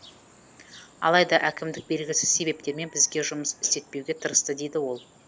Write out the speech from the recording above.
алайда әкімдік белгісіз себептермен бізге жұмыс істетпеуге тырысты дейді ол